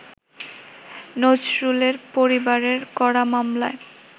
নজরুলের পরিবারের করা মামলায়